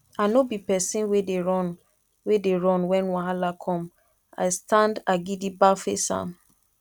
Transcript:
i nor be pesin wey dey run wey dey run wen wahala come i standa gidigba face am